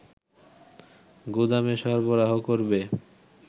গুদামে সরবরাহ করবে